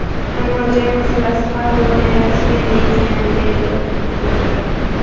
Ammo joy masalasi hal bo‘lmayotgan ekan, deydi o‘qituvchilar.